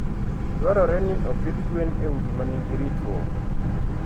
Dwarore ni opidh gwen e udi ma nigi ritruok.